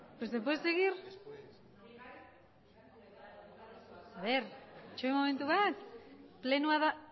itxaron momentu bat